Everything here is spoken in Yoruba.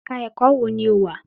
Ẹ̀ka ẹ̀kọ́ wo ni o wà?